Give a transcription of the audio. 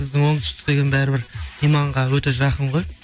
біздің оңтүстік деген бәрібір иманға өте жақын ғой